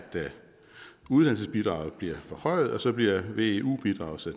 uddannelsesbidraget bliver forhøjet og så bliver veu bidraget